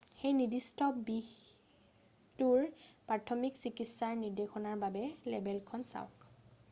সেই নিৰ্দিষ্ট বিহটোৰ প্ৰাথমিক চিকিৎসাৰ নিৰ্দেশনাৰ বাবে লেবেলখন চাওক